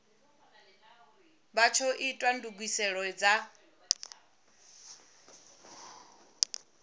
vha tsho ita ndugiselo dza